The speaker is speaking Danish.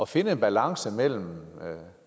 finde en balance mellem ret